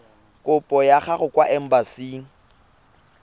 kopo ya gago kwa embasing